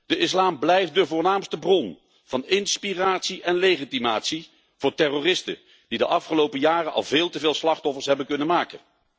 De islam blijft de voornaamste bron van inspiratie en legitimatie voor terroristen die de afgelopen jaren al veel te veel slachtoffers hebben kunnen maken.